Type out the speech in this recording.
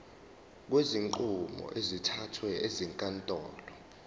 kwezinqumo ezithathwe ezinkantolo